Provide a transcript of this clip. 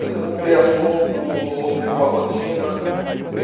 Às vezes não tem assunto ou fica uma rotina.